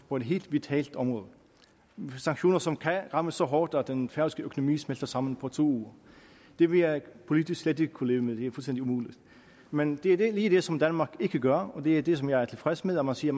på et helt vitalt område sanktioner som kan ramme så hårdt at den færøske økonomi smelter sammen på to uger det vil jeg politisk slet ikke kunne leve med det er fuldstændig umuligt men det er lige det som danmark ikke gør og det er det som jeg er tilfreds med når man siger